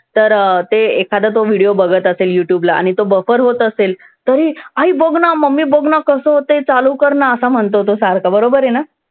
तर ते एखादा तो video बघत असेल youtube ला आणि तो buffer होत असेल तर, आई बघ ना. मम्मी बघ ना कसं होतंय? चालू कर ना. असा म्हणतो तो सारखं. बरोबर आहे ना?